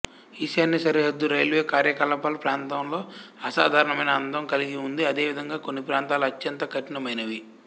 ఈశాన్య సరిహద్దు రైల్వే కార్యకలాపాల ప్రాంతంలో అసాధారణమైన అందం కలిగి ఉంది అదే విధంగా కొన్ని ప్రాంతాలు అత్యంత కఠినమైనవి